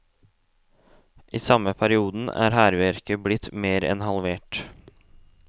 I samme perioden er hærverket blitt mer enn halvert.